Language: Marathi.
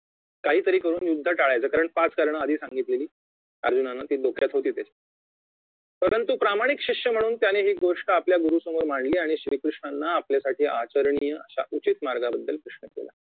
काहीतरी करुन युद्ध टाळायचे कारण पाच कारण आधी सांगितलेले अर्जुनाने जी डोक्यात होती ती परंतु प्रामाणिक शिष्य म्हणून त्याने हि गोष्ट आपल्या गुरुसमोर मांडली आणि श्री कृष्णांनी आपल्यासाठी आचरणीय अश्या उचित मार्गाबद्दल प्रश्न केला